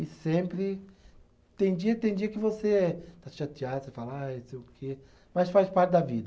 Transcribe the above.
E sempre. Tem dia, tem dia que você está chateado, você fala ai não sei o quê, mas faz parte da vida.